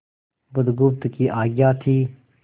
बुधगुप्त की आज्ञा थी